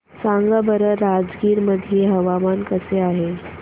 सांगा बरं राजगीर मध्ये हवामान कसे आहे